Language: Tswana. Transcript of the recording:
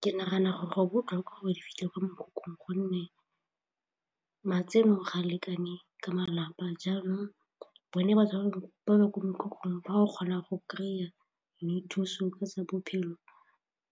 Ke nagana gore go botlhokwa gore di fitlhelele kwa mekhukhung gonne matseno ga a lekane ka malapa jaanong bone batho ba ba kwa mekhukhung ba go kgona go kry-a ka thuso